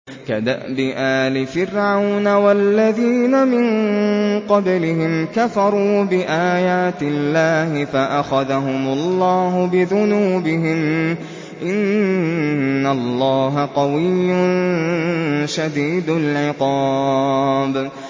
كَدَأْبِ آلِ فِرْعَوْنَ ۙ وَالَّذِينَ مِن قَبْلِهِمْ ۚ كَفَرُوا بِآيَاتِ اللَّهِ فَأَخَذَهُمُ اللَّهُ بِذُنُوبِهِمْ ۗ إِنَّ اللَّهَ قَوِيٌّ شَدِيدُ الْعِقَابِ